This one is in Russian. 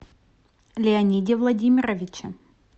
леониде владимировиче